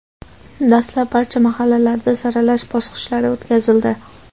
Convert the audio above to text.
dastlab barcha mahallalarda saralash bosqichlari o‘tkazildi.